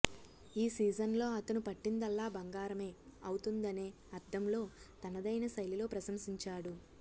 ఈ సీజన్లో అతను పట్టిందల్లా బంగారమే అవుతుందనే అర్థంలో తనదైన శైలిలో ప్రశంసించాడు